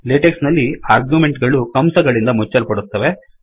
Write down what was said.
latex ನಲ್ಲಿ argument ಗಳು ಕಂಸ ಗಳಿಂದ ಮುಚ್ಚಲ್ಪಡುತ್ತವೆ